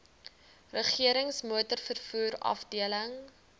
regerings motorvervoer afdeling